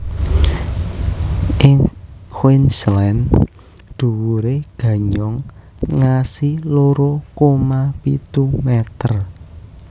Ing Queensland dhuwuré ganyong ngasi loro koma pitu meter